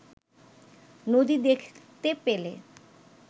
নদী দেখতে পেলে